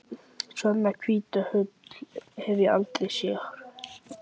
Svona hvíta ull hef ég aldrei séð.